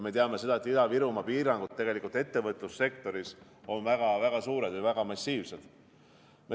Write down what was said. Me teame, et Ida-Virumaa piirangud ettevõtlussektoris on väga suured, massiivsed.